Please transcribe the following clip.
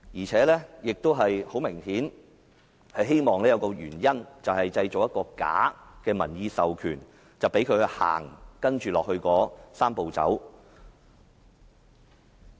此外，很明顯，政府是希望製造一個假的民意授權，以便推展"三步走"。